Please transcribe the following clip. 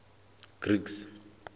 greeks